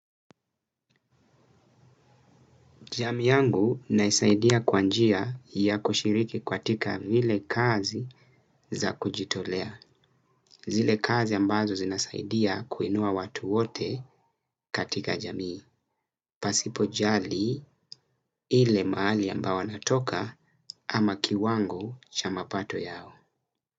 Jamii yangu naisaidia kwa njia ya kushiriki katika zile kazi za kujitolea. Zile kazi ambazo zinasaidia kuinua watu wote katika jamii. Pasipo jali ile mahali ambao wanatoka ama kiwango cha mapato yao.